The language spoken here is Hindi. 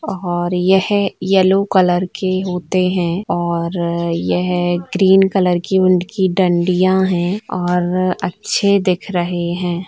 और यह येलो कलर के होते हैं और यह ग्रीन कलर के उनकी डंडिया हैं और अच्छे दिख रहे हैं।